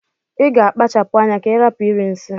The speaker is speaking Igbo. Iga akpachapu anya ka irapu iri nsi!!